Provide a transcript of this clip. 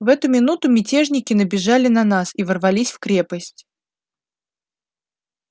в эту минуту мятежники набежали на нас и ворвались в крепость